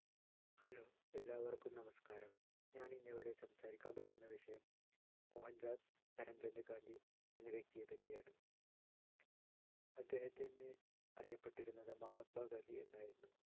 hello എല്ലാവർക്കും നമസ്കാരം ഞാനിന്നിവിടെ സംസാരിക്കാൻ പോകുന്ന വിഷയം മോഹൻദാസ് കരംചന്ദ് ഗാന്ധി എന്ന വ്യക്തിയെപറ്റിയാണ് അദ്ദേഹത്തിൻ്റെ അറിയപ്പെട്ടിരുന്നത് മഹാത്മാഗാന്ധി എന്നായിരുന്നു